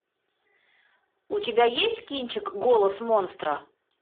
у тебя есть кинчик голос монстра